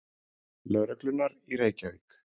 Lögreglunnar í Reykjavík.